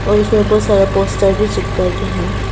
और उसमें बहोत सारा पोस्टर भी चिपका के हैं।